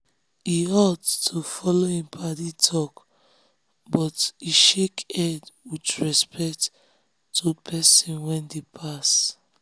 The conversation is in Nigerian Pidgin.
he halt to follow him paddy talk um but he shake head with um respect to pesin wey dey pass.